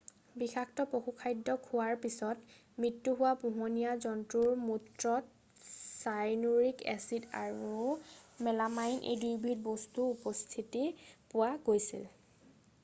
বিষাক্ত পশুখাদ্য খোৱাৰ পিছত মৃত্যু হোৱা পোহনীয়া জন্তুৰ মূত্ৰত চাইনুৰিক এচিড আৰু মেলামাইন এই দুয়োবিধ বস্তুৰ উপস্থিতি পোৱা গৈছিল